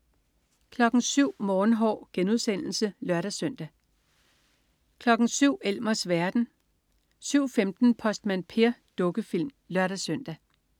07.00 Morgenhår* (lør-søn) 07.00 Elmers verden (lør-søn) 07.15 Postmand Per. Dukkefilm (lør-søn)